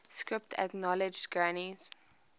script acknowledged granny's